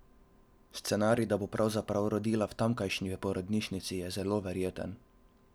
Scenarij, da bo pravzaprav rodila v tamkajšnji porodnišnici je zelo verjeten.